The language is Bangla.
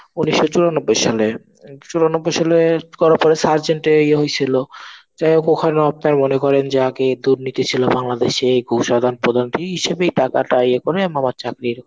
উনিশ্সো চুরানব্বই সালে চুরানব্বই সালে করার পরে surgent এর ইয়ে হয়েছিল. যাই হোক ওখানেও আপনার মনে করেন যে আগে দুর্নীতি ছিল বাংলাদেশে ঘুষ আদান প্রদান হিসেবেই টাকাটা ইয়ে করে মামার চাকরি